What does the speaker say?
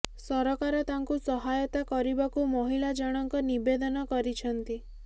ସରକାର ତାଙ୍କୁ ସହାୟତା କରିବାକୁ ମହିଳା ଜଣଙ୍କ ନିବେଦନ କରିଛନ୍ତି